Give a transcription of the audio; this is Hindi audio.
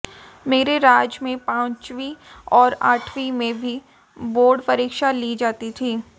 मेरे राज में पांचवीं और आठवीं में भी बोर्ड परीक्षा ली जाती थी